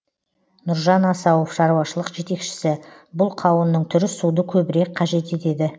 нұржан асауов шаруашылық жетекшісі бұл қауынның түрі суды көбірек қажет етеді